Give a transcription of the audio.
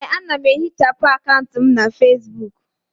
Ee, ana m ehichapụ akaụntụ m na Fesbuk.